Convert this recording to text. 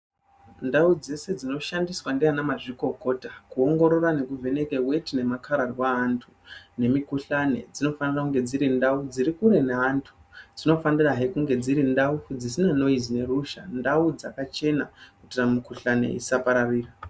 Ndau dzese dzinoshandiswa ndiana mazvikokota kuongorora nekuvheneke weti nemakararwa evantu nemikhuhlani dzinofanirwa kunge dziri kure neantu, dzinofanira hee kunge dziri ndau dziri kure neruzha, ndau dzakachema kuitira mikhuhlani isapararira.